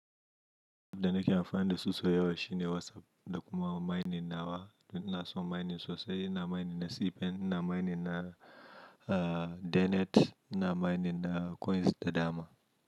Da nake amfani da suso yawa shine WhatsApp, da kuma mining nawa. Ina son mining sosai, ina mining na C pen, ina mining na, uh, Denet, ina mining na coins da dama.